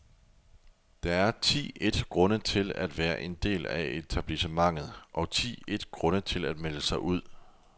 Der er ti et grunde til at være en del af etablissementet, og ti et grunde til at melde sig ud.